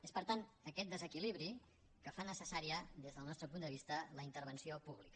és per tant aquest desequilibri el que fa necessària des del nostre punt de vista la intervenció pública